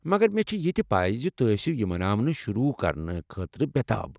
مگر مےٚ چھےٚ یہِ تہِ پَے زِ توہہِ ٲسِو یہ مناوٕنہِ شروٗع کرنہٕ خٲطرٕ بے٘ تاب ۔